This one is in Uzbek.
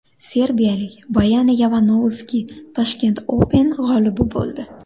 Serbiyalik Boyana Yovanovski Tashkent Open g‘olibi bo‘ldi.